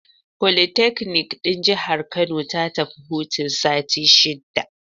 Fokitakanik ɗin Jihar Kano ta tafi hutun sati shida